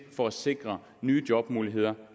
for at sikre nye jobmuligheder